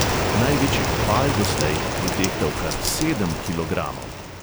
Največji opal doslej je tehtal kar sedem kilogramov.